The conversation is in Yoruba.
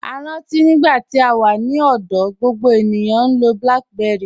A rántí nígbà tí à wà ní ọ̀dọ̀, gbogbo ènìyàn ń lọ̀ BlackBerry.